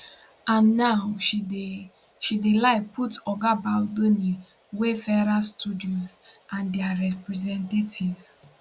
and now she dey she dey lie put oga baldoni wayfarer studios and dia representatives